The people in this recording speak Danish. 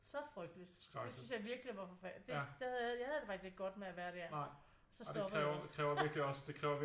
Så frygteligt det synes jeg virkelig var forfærdeligt det jeg havde det faktisk ikke godt med at være der så stoppede jeg også